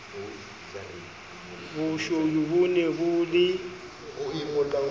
boshodu bo ne bo le